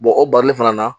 o bari fana na